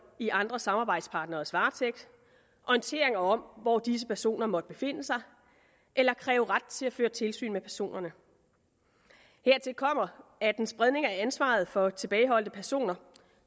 i andre samarbejdspartneres varetægt orienteringer om hvor disse personer måtte befinde sig eller kræve ret til at føre tilsyn med personerne hertil kommer at en spredning af ansvaret for tilbageholdte personer